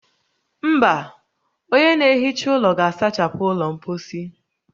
Mba, onye na-ehicha ụlọ ga-asachapụ ụlọ mposi